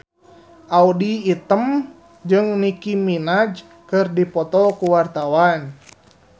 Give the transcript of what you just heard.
Audy Item jeung Nicky Minaj keur dipoto ku wartawan